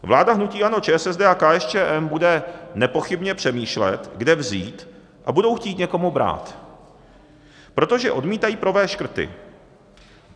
Vláda hnutí ANO, ČSSD a KSČM bude nepochybně přemýšlet, kde vzít, a budou chtít někomu brát, protože odmítají provést škrty.